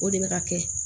O de bɛ ka kɛ